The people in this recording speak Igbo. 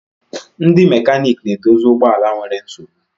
Ndi mekanik na-edozie ụgbọ ala nwere nsogbu.